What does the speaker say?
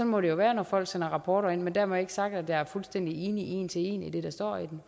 må det jo være når folk sender rapporter ind men dermed ikke sagt at jeg er fuldstændig enig en til en i det der står i